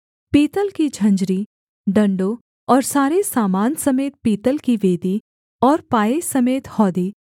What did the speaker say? पीतल की झंझरी डण्डों और सारे सामान समेत पीतल की वेदी और पाए समेत हौदी